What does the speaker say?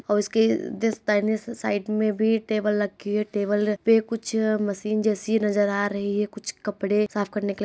और इसकी दाहनी साइड मे भी टेबल रखी है। टेबल पर कुछ मशीन जैसी नजर आ रही है कुछ कपड़े साफ करने के --